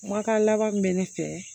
Kumakan laban min bɛ ne fɛ